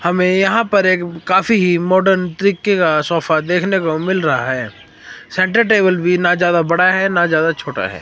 हमें यहां पर एक काफी ही मॉडर्न तरीके का सोफा देखने को मिल रहा है सेंटर टेबल भी ना ज्यादा बड़ा है ना ज्यादा छोटा है।